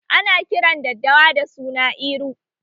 Ana kiran daddawa da suna Iru